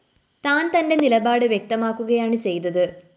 താന്‍ തന്റെ നിലപാട് വ്യക്തമാക്കുകയാണ് ചെയ്തത്